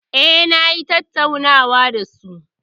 Eh, na yi tattaunawan da su.